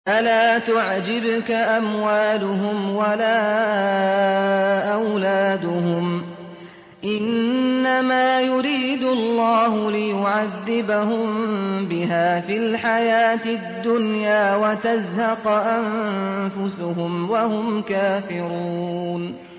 فَلَا تُعْجِبْكَ أَمْوَالُهُمْ وَلَا أَوْلَادُهُمْ ۚ إِنَّمَا يُرِيدُ اللَّهُ لِيُعَذِّبَهُم بِهَا فِي الْحَيَاةِ الدُّنْيَا وَتَزْهَقَ أَنفُسُهُمْ وَهُمْ كَافِرُونَ